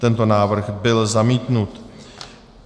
Tento návrh byl zamítnut.